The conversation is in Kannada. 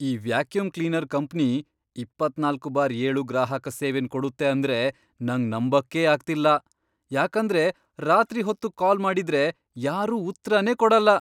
ಈ ವ್ಯಾಕ್ಯೂಮ್ ಕ್ಲೀನರ್ ಕಂಪ್ನಿ ಇಪ್ಪತ್ನಾಲ್ಕು ಬಾರ್ ಏಳು ಗ್ರಾಹಕ ಸೇವೆನ್ ಕೊಡುತ್ತೆ ಅಂದ್ರೆ ನಂಗ್ ನಂಬಕ್ಕೇ ಆಗ್ತಿಲ್ಲ, ಯಾಕಂದ್ರೆ ರಾತ್ರಿ ಹೊತ್ತು ಕಾಲ್ ಮಾಡಿದ್ರೆ ಯಾರೂ ಉತ್ರನೇ ಕೊಡಲ್ಲ.